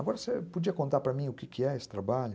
Agora, você podia contar para mim o que que é esse trabalho?